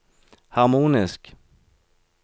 harmonisk